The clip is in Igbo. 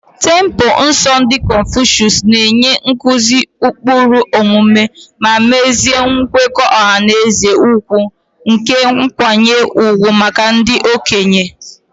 Templelọ nsọ ndị Confucius na-enye nkuzi ụkpụrụ omume ma mesie nkwekọ ọha na eze ugwu na nkwanye ùgwù maka ndị okenye.